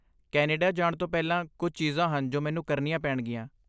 Canada ਜਾਣ ਤੋਂ ਪਹਿਲਾਂ ਕੁੱਝ ਚੀਜ਼ਾਂ ਹਨ ਜੋ ਮੈਨੂੰ ਕਰਨੀਆਂ ਪੈਣਗੀਆਂ।